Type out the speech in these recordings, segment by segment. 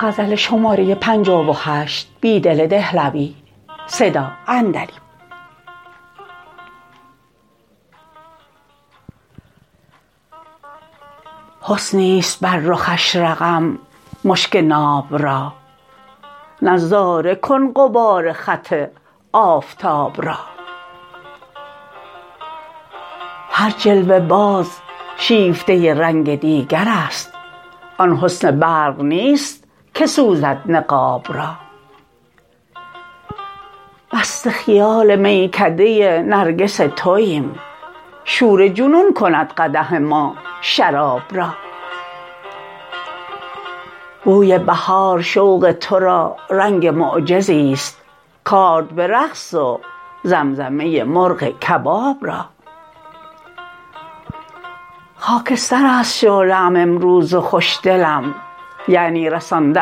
حسنی است بر رخش رقم مشک ناب را نظاره کن غبار خط آفتاب را هر جلوه باز شیفته رنگ دیگر است آن حسن برق نیست که سوزد نقاب را مست خیال میکده نرگس توایم شور جنون کند قدح ما شراب را بوی بهار شوق تو را رنگ معجزی ست کآرد به رقص و زمزمه مرغ کباب را خاکستر است شعله ام امروز و خوش دلم یعنی رسانده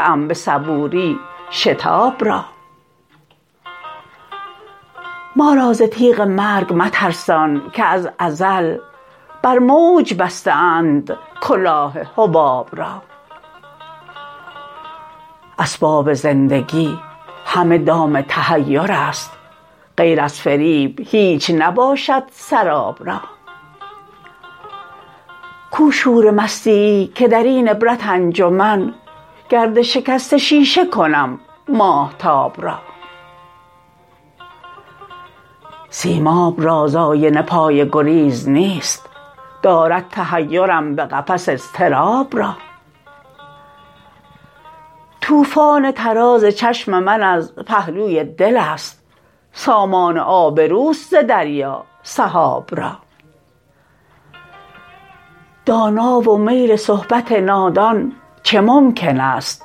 ام به صبوری شتاب را ما را ز تیغ مرگ مترسان که از ازل بر موج بسته اند کلاه حباب را اسباب زندگی همه دام تحیر است غیر از فریب هیچ نباشد سراب را کو شور مستی ای که درین عبرت انجمن گرد شکست شیشه کنم ماهتاب را سیماب را ز آینه پای گریز نیست دارد تحیرم به قفس اضطراب را توفان طراز چشم من از پهلوی دل است سامان آبروست ز دریا سحاب را دانا و میل صحبت نادان چه ممکن است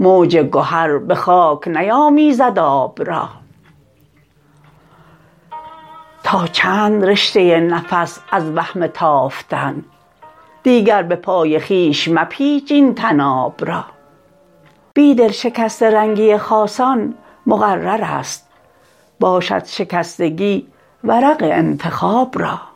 موج گهر به خاک نیامیزد آب را تا چند رشته نفس از وهم تافتن دیگر به پای خویش مپیچ این طناب را بیدل شکسته رنگی خاصان مقرر است باشد شکستگی ورق انتخاب را